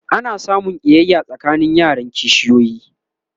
ana samun ƙiyaya tsakanin yaran kishiyoyi